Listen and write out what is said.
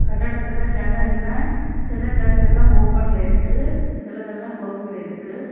கட்டடத்துல ஜன்னல் எல்லா சில ஜன்னல் எல்லா ஓபன்ல இருக்கு சிலதெல்லா கிளோஸ்ல இருக்கு.